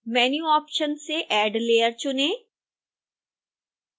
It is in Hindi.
menu ऑप्शन से add layer चुनें